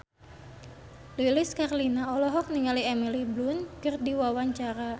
Lilis Karlina olohok ningali Emily Blunt keur diwawancara